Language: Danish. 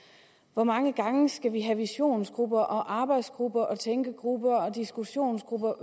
hvor mange gange skal vi have visionsgrupper arbejdsgrupper tænkegrupper og diskussionsgrupper